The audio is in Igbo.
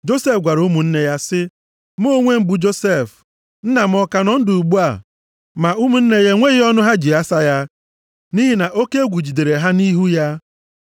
Josef gwara ụmụnne ya sị, “Mụ onwe m bụ Josef. Nna m ọ ka nọ ndụ ugbu a?” Ma ụmụnne ya enweghị ọnụ ha ji asa ya, nʼihi na oke egwu jidere ha nʼihu ya.